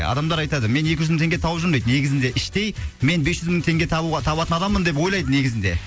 адамдар айтады мен екі жүз мың теңге тауып жүрмін дейді негізінде іштей мен бес жүз мың теңге табуға табатын адаммын деп ойлайды негізінде